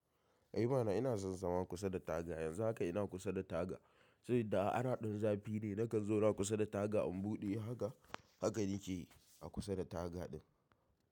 Eh mana ina son zama kusa da taga yanzu haka ina kusa da taga. Saboda ana ɗan zafi ne na kan zauna kusa da taga in buɗe haka haka nike a kusa da taga ɗin.